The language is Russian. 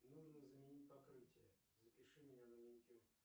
нужно заменить покрытие запиши меня на маникюр